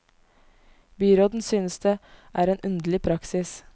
Byråden synes det er en underlig praksis.